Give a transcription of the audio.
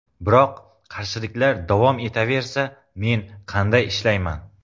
Biroq qarshiliklar davom etaversa, men qanday ishlayman?